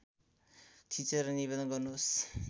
थिचेर निवेदन गर्नुहोस्